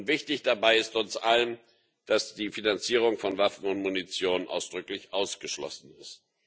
Wichtig dabei ist trotz allem, dass die Finanzierung von Waffen und Munition ausdrücklich ausgeschlossen ist.